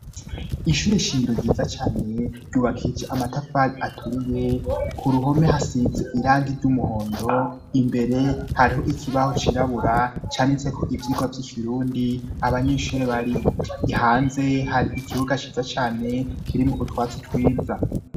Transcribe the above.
ishure ishingiro ryiza cane ryubakije amatafari aturiye ku ruhome hasizeko irangi ry'umuhondo imbere hariho ikibaho cirabura canditseko ivyigwa vy'ikirundi abanyeshuri bariho ihanze hari ikibuga ciza cane kirimo utwatsi twiza